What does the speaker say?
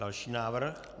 Další návrh.